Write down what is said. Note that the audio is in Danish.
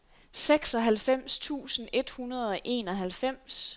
seksoghalvfems tusind et hundrede og enoghalvfems